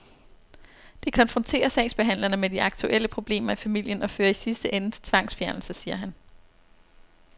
Det konfronterer sagsbehandlerne med de aktuelle problemer i familien og fører i sidste ende til tvangsfjernelse, siger han.